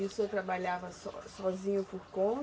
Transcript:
E o senhor trabalhava so sozinho por conta?